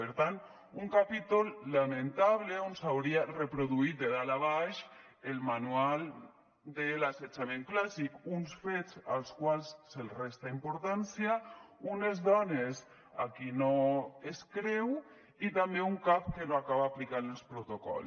per tant un capítol lamentable on s’hauria reproduït de dalt a baix el manual de l’assetjament clàssic uns fets als quals se’ls resta importància unes dones a qui no es creu i també un cap que no acaba aplicant els protocols